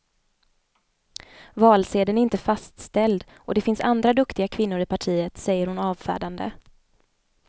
Valsedeln är inte fastställd och det finns andra duktiga kvinnor i partiet, säger hon avfärdande.